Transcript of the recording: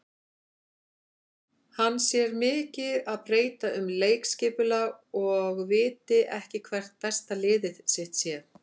Hann sé mikið að breyta um leikskipulag og viti ekki hvert besta lið sitt sé.